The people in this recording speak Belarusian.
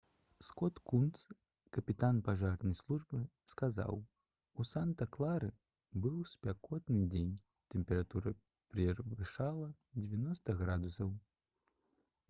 скот кунс капітан пажарнай службы сказаў: «у санта-клары быў спякотны дзень тэмпература перавышала 90 градусаў»